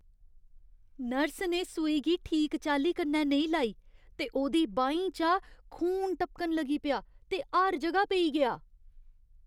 Nurse ने सूई गी ठीक चाल्ली कन्नै नेईं लाई ते ओह्दी बाहीं चा खून टपकन लगी पेआ ते हर जगह पेई गेआ।